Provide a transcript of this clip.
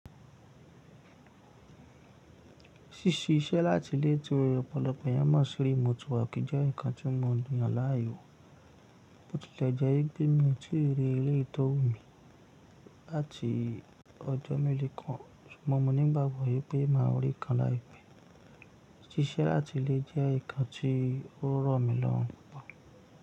Sísí iṣẹ́ láti ilè tó ọ̀pọ̀lọpọ̀ ìyà mọ̀ sí remote work jẹ́ nǹkan tí mò yàn láàyèwó. Ó tilẹ̀ jẹ́ bí mi ò tíì rí eleyii to wu mi láti ọjọ́ meelo kàn, ṣùgbọ́n mò ní ìgbàgbọ́ yẹ pé màá rí i kàn láìpẹ́. Sísẹ́ láti ilè jẹ́ nǹkan tí ò rọ̀ mí lọ́hùn kàn.